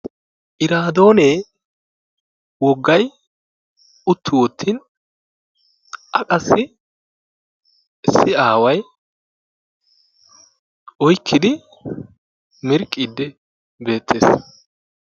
Iraadoonee woggay utti wottin A qassi issi aaway oykkidi mirqqiiddi beettees.